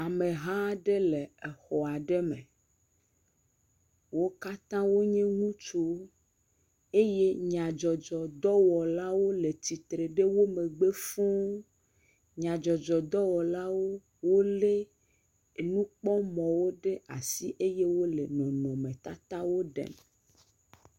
Ameha aɖe le exɔ aɖe me. Wo katã wonye ŋutsuwo eye nyadzɔdzɔdɔwɔlawo le tsitre ɖe wo megbe fũuu. Nyadzɔdzɔdɔwɔlawo wolé nukpɔmɔ̃wo ɖe asi eye wole nɔnɔmetatawo ɖem